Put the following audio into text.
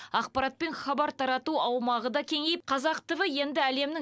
ақпарат пен хабар тарату аумағы да кеңейіп қазақ тв енді әлемнің